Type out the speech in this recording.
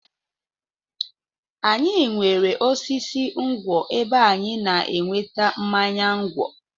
Anyị nwere osisi ngwọ̀ ebe anyị na-enweta mmanya ngwọ̀.